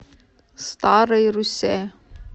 старой руссе